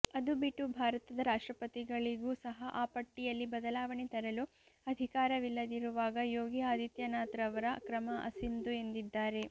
ಅದು ಬಿಟ್ಟು ಭಾರತದ ರಾಷ್ಟ್ರಪತಿಗಳಿಗೂ ಸಹ ಆ ಪಟ್ಟಿಯಲ್ಲಿ ಬದಲಾವಣೆ ತರಲು ಅಧಿಕಾರವಿಲ್ಲದಿರುವಾಗ ಯೋಗಿ ಆದಿತ್ಯನಾಥ್ರವರ ಕ್ರಮ ಅಸಿಂಧು ಎಂದಿದ್ದಾರೆ